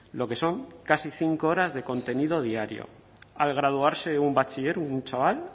lo que son casi cinco horas de contenido diario al graduarse un bachiller un chaval